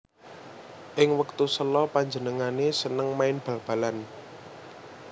Ing wektu sela panjenengané seneng main bal balan